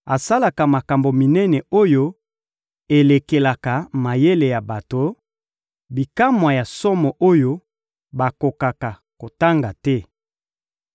asalaka makambo minene oyo elekelaka mayele ya bato, bikamwa ya somo oyo bakokaka kotanga te.